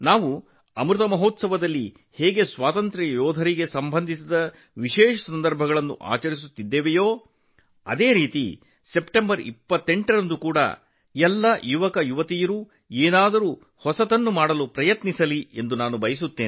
ಅಮೃತ ಮಹೋತ್ಸವದ ಸಂದರ್ಭದಲ್ಲಿ ನಾವು ಸ್ವಾತಂತ್ರ್ಯ ಹೋರಾಟಗಾರರಿಗೆ ಸಂಬಂಧಿಸಿದ ವಿಶೇಷ ಸಂದರ್ಭಗಳನ್ನು ಹೇಗೆ ಆಚರಿಸುತ್ತೇವೆಯೋ ಅದೇ ರೀತಿ ಸೆಪ್ಟೆಂಬರ್ 28 ರಂದು ಪ್ರತಿಯೊಬ್ಬ ಯುವಕರು ಏನಾದೂ ಹೊಸದನ್ನು ಪ್ರಯತ್ನಿಸಬೇಕು ಎಂದು ನಾನು ಬಯಸುತ್ತೇನೆ